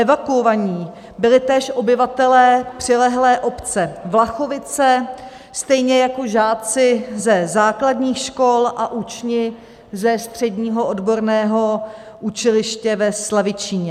Evakuovaní byli též obyvatelé přilehlé obce Vlachovice, stejně jako žáci ze základních škol a učni ze Středního odborného učiliště ve Slavičíně.